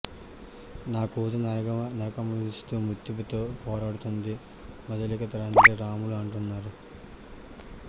నా కూతురు నరకం అనుభవిస్తూ మృత్యువుతో పోరాడుతుందని మధులిక తండ్రి రాములు అంటున్నారు